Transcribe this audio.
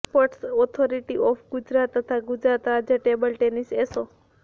sports authority of Gujarat તથા ગુજરાત રાજ્ય table tennis એસો